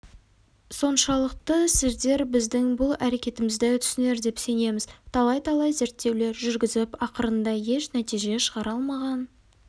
соншалықты сіздер біздің бұл әрекетімізді түсінер деп сенеміз талай-талай зерттеулер жүргізіп ақырында еш нәтиже шығара алмаған